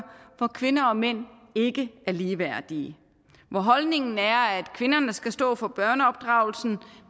hvor kvinder og mænd ikke er ligeværdige hvor holdningen er at kvinderne skal stå for børneopdragelsen